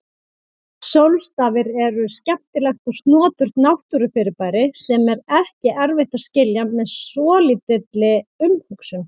Sólstafir eru skemmtilegt og snoturt náttúrufyrirbæri sem er ekki erfitt að skilja með svolítilli umhugsun.